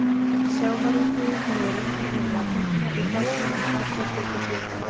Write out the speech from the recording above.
Sjávarútvegi hefur reyndar verið að hnigna í plássinu allar götur síðan.